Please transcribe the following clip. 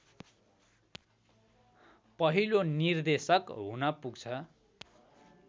पहिलो निर्देशक हुन पुग्छ।